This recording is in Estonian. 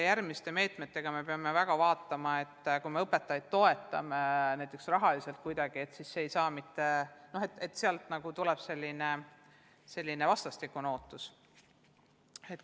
Järgmiste meetmete puhul me peame vaatama, et kui me toetame õpetajaid näiteks rahaliselt, siis see ei saa muutuda vastastikuseks ootuseks.